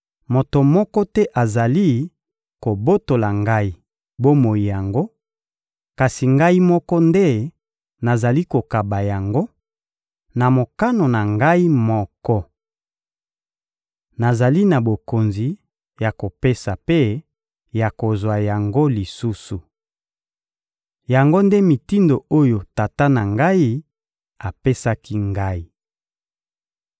Moto moko te azali kobotola Ngai bomoi yango, kasi Ngai moko nde nazali kokaba yango, na mokano na Ngai moko. Nazali na bokonzi ya kopesa mpe ya kozwa yango lisusu. Yango nde mitindo oyo Tata na Ngai apesaki Ngai.